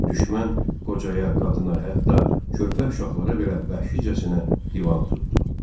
Düşmən qocaya, qadına, hətta körpə uşaqlara belə vəhşicəsinə divan tutdu.